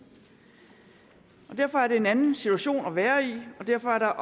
derfor er det en anden situation at være i og derfor er